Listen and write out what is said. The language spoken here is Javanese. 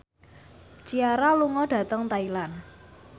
Ciara lunga dhateng Thailand